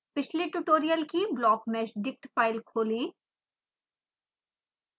पिछले ट्यूटोरियल की blockmeshdict file खोलें